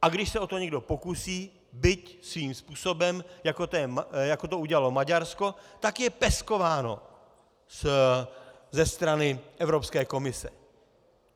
A když se o to někdo pokusí, byť svým způsobem, jako to udělalo Maďarsko, tak je peskováno ze strany Evropské komise.